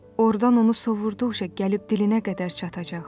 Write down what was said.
Ordan onu sovurduqca gəlib dilinə qədər çatacaq.